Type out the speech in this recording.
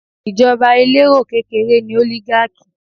Ìjọba elérò kékeré ni Oligarchy